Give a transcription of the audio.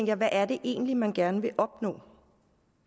jeg hvad er det egentlig man gerne vil opnå